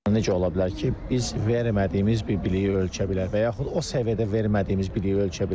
necə ola bilər ki, biz vermədiyimiz bir biliyi ölçə bilər və yaxud o səviyyədə vermədiyimiz biliyi ölçə bilər.